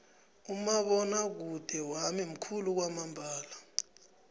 umabonwakude wami mukhulu kwamambala